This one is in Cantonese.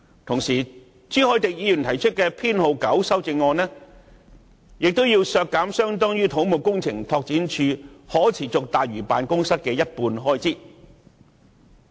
同時，朱凱廸議員提出的修正案編號 9， 亦要求削減相當於可持續大嶼辦公室的一半開支。